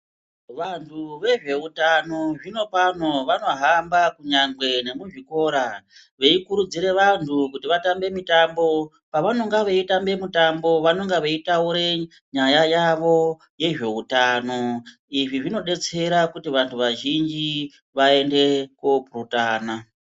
Vantu ve zveutano zvino pano vano hamba kunyangwe ne mu zvikora vei kurudzire vantu kuti vatambe mitambo pavanonga vei tamba mitambo vanonga vei taure nyaya yavo ye zveutano izvi zvino detsera kuti vantu va zhinji vaende ko purutana.